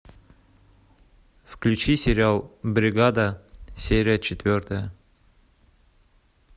включи сериал бригада серия четвертая